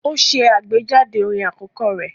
Ó ṣe àgbéjáde orin àkọ́kọ́ rẹ̀